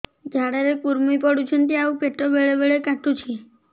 ଝାଡା ରେ କୁର୍ମି ପଡୁଛନ୍ତି ଆଉ ପେଟ ବେଳେ ବେଳେ କାଟୁଛି